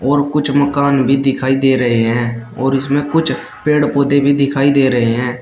और कुछ मकान भी दिखाई दे रहे हैं और इसमें कुछ पेड़ पौधे भी दिखाई दे रहे हैं।